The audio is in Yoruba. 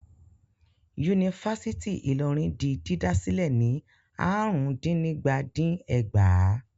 Yunifásítì Ìlọrin di dídá sílẹ̀ ní àrùndínígba-dín-ẹgbàá.